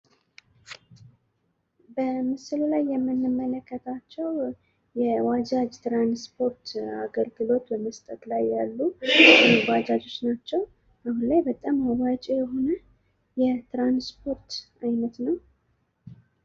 በምስሉ ላይ የምንመለከታቸው የባጃጅ ትራንስፖርት አገልግሎት በመስጠት ላይ ያሉ ባጃጆች ናቸው። እና በጣም አዋጭ የሆነ የትራንስፖርት አይነት ነው።